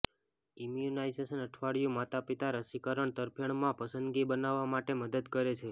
immunisation અઠવાડિયું માતાપિતા રસીકરણ તરફેણમાં પસંદગી બનાવવા માટે મદદ કરે છે